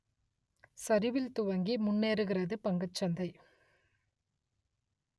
சரிவில் துவங்கி முன்னேறுகிறது பங்கு சந்தை